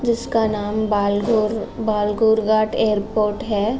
जिस का नाम बाल गोड़ बालघोर एयरपोर्ट है।